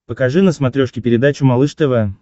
покажи на смотрешке передачу малыш тв